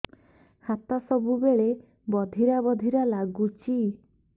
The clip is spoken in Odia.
ହାତ ସବୁବେଳେ ବଧିରା ବଧିରା ଲାଗୁଚି